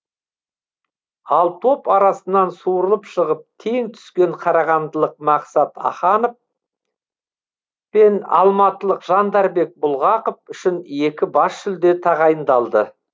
ал топ арасынан суырылып шығып тең түскен қарағандылық мақсат аханов пен алматылық жандарбек бұлғақов үшін екі бас жүлде тағайындалды